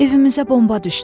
Evimizə bomba düşdü.